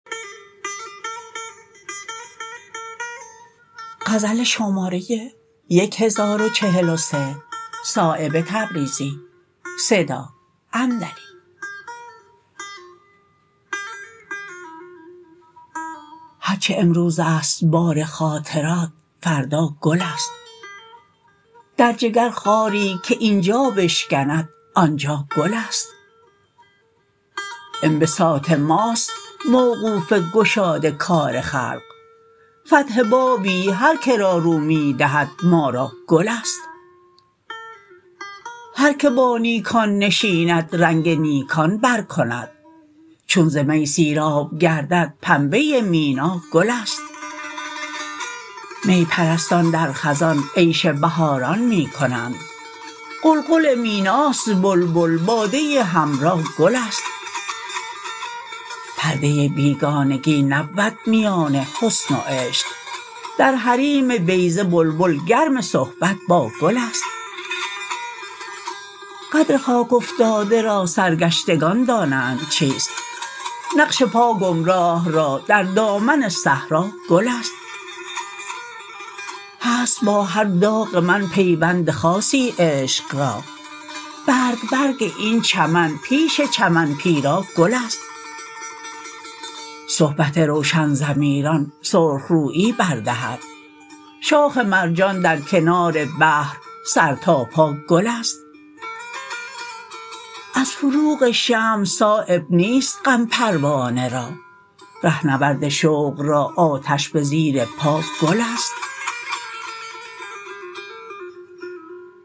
هر چه امروزست بار خاطرت فردا گل است در جگرخاری که اینجا بشکند آنجا گل است انبساط ماست موقوف گشاد کار خلق فتح بابی هر که را رو می دهد ما را گل است هر که با نیکان نشیند رنگ نیکان بر کند چون ز می سیراب گردد پنبه مینا گل است می پرستان در خزان عیش بهاران می کنند قلقل میناست بلبل باده حمرا گل است پرده بیگانگی نبود میان حسن و عشق در حریم بیضه بلبل گرم صحبت با گل است قدر خاک افتاده را سرگشتگان دانند چیست نقش پا گمراه را در دامن صحرا گل است هست با هر داغ من پیوند خاصی عشق را برگ برگ این چمن پیش چمن پیرا گل است صحبت روشن ضمیران سرخ رویی بر دهد شاخ مرجان در کنار بحر سر تا پا گل است از فروغ شمع صایب نیست غم پروانه را رهنورد شوق را آتش به زیر پا گل است